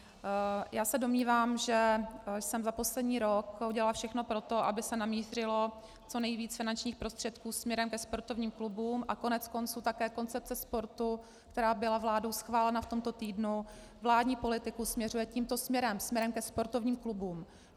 Já se domnívám, že jsem za poslední rok udělala všechno pro to, aby se namířilo co nejvíc finančních prostředků směrem ke sportovním klubům, a koneckonců také koncepce sportu, která byla vládou schválena v tomto týdnu, vládní politiku směřuje tímto směrem, směrem ke sportovním klubům.